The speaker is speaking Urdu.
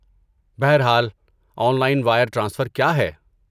بہر حال، آن لائن وائر ٹرانسفر کیا ہے؟